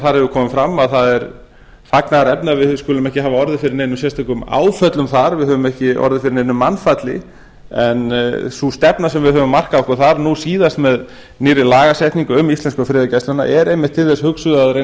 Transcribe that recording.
hefur komið fram að það er fagnaðarefni að við skulum ekki hafa orðið fyrir neinum sérstökum áföllum þar við höfum ekki orðið fyrir neinu mannfalli sú stefna sem við höfum markað okkur þar nú síðast með nýrri lagasetningu um íslensku friðargæsluna er einmitt til þess hugsuð að reyna